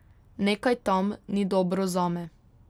Nekaj tam ni dobro zame.